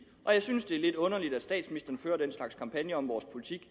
og jeg synes det er lidt underligt at statsministeren fører den slags kampagner om vores politik